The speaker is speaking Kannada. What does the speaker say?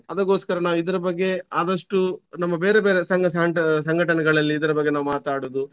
ಅದಕ್ಕೋಸ್ಕರ ನಾವು ಇದ್ರ ಬಗ್ಗೆ ಆದಷ್ಟು ನಮ್ಮ ಬೇರೆ ಬೇರೆ ಸಂಘ ಸಾಂಟ್~ ಸಂಘಟನೆಗಳಲ್ಲಿ ಇದ್ರ ಬಗ್ಗೆ ನಾವು ಮಾತಾಡುದು.